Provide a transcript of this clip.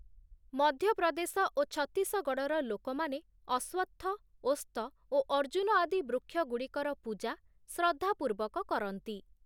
ମଧ୍ୟପ୍ରଦେଶ ଓ ଛତିଶଗଡ଼ର ଲୋକମାନେ ଅଶ୍ୱତ୍ଥ, ଓସ୍ତ ଓ ଅର୍ଜୁନ ଆଦି ବୃକ୍ଷଗୁଡ଼ିକର ପୂଜା ଶ୍ରଦ୍ଧାପୂର୍ବକ କରନ୍ତି ।